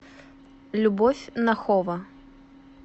любовь нахова